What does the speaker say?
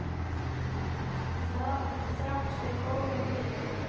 Þrátt fyrir góðan vilja.